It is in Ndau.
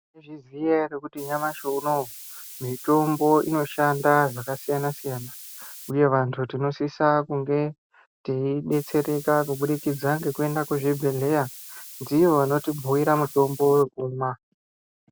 Inyaya yekuti nyamashi unoyu mitombo inoshande zvakasiyana siyana uye vantu tinosisa kunge taidetsereka kuburikidza ngekuenda kuzvibhedhleya ndivo vanotibhuyira mutombo wokumwa.